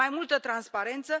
Mai multă transparență.